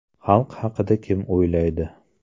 Xalq haqida kim o‘ylaydi?